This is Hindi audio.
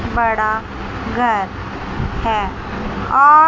बड़ा घर है और--